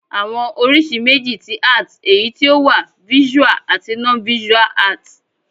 Àwọn oríṣi méjì ti Art èyí tí o wà Visual àti Non-visual Art